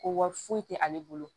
Ko wari foyi tɛ ale bolo